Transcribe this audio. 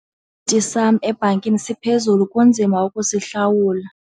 sam ebhankini siphezulu kunzima ukusihlawula.